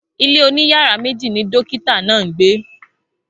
Ilé oní yàrá méjì ni dokita náà ń gbe